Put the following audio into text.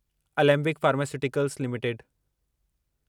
Alembic pharmaceuticals limited